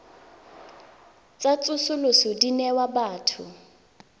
tsa tsosoloso di newa batho